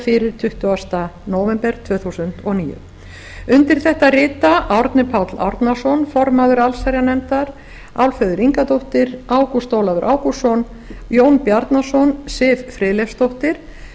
fyrir tuttugasta nóvember tvö þúsund og níu undir þetta rita árni páll árnason formaður allsherjarnefndar álfheiður ingadóttir ágúst ólafur ágústsson jón bjarnason siv friðleifsdóttir